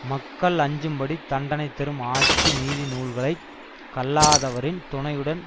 மக்கள் அஞ்சும்படி தண்டனை தரும் ஆட்சி நீதி நூல்களை கல்லாதவரின் துணையுடன்